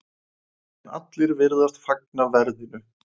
En allir virðast fagna verðinu.